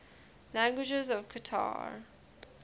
languages of qatar